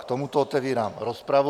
K tomuto otevírám rozpravu.